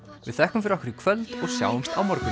við þökkum fyrir okkur í kvöld og sjáumst á morgun